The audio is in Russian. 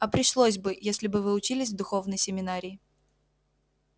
а пришлось бы если бы вы учились в духовной семинарии